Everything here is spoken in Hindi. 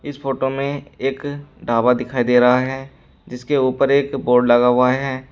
इस फोटो में एक ढाबा दिखाई दे रहा है जिसके उपर एक बोर्ड लगा हुआ है।